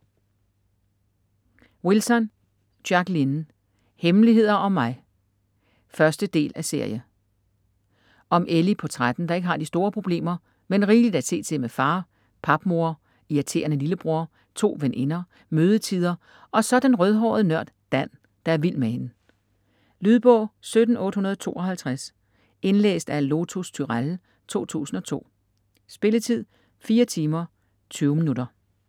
Wilson, Jacqueline: Hemmeligheder om mig 1. del af serie. Om Ellie på 13, der ikke har de store problemer, men rigeligt at se til med far, papmor, irriterende lillebror, to veninder, mødetider og så den rødhårede nørd Dan, der er vild med hende. Lydbog 17852 Indlæst af Lotus Turéll, 2002. Spilletid: 4 timer, 20 minutter.